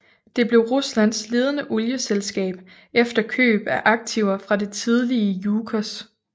Det blev Ruslands ledende olieselskab efter køb af aktiver fra det tidligere Jukos